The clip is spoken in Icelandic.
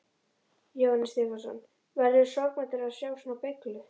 Jóhannes Stefánsson: Verðurðu sorgmæddur að sjá svona beyglu?